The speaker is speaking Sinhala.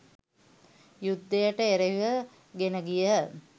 යුද්ධයට එරෙහිව ගෙනගිය